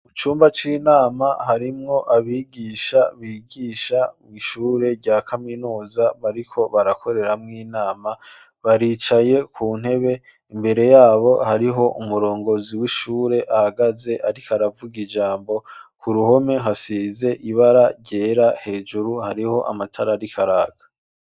Mu cumba c'inama harimwo abigisha bigisha mw'ishure rya kaminuza mariko barakoreramwo inama baricaye ku ntebe imbere yabo hariho umurongozi w'ishure ahagaze, ariko aravuga ijambo ku ruhome hasize ibara ryera hejuru hariho amata arali karaka.